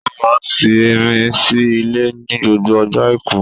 Ó máa n simi sí ilé ní gbogbo ọjọ́ àìkú